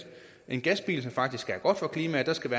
en gasbil der faktisk er god for klimaet skal